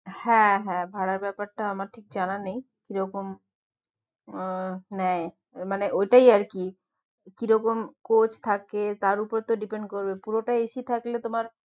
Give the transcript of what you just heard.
হ্যাঁ হ্যাঁ ভাড়ার ব্যাপারটা আমার ঠিক জানা নেই কিরকম উম নেয় মানে ঐটাই আরকি কিরকম coach থাকে, তার উপরতো depend করবে পুরোটাই AC থাকলে তোমার